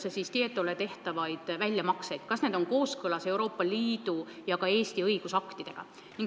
See puudutas Tietole tehtavaid väljamakseid, seda, kas need on kooskõlas Euroopa Liidu ja ka Eesti õigusaktidega.